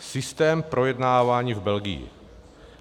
Systém projednávání v Belgii.